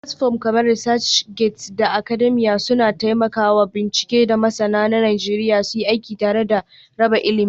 Platforms kamar ResearchGate da Academia suna taimaka wa masu bincike da masana na Najeriya suyi aiki tare da raba ilimi.